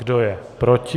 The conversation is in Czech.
Kdo je proti?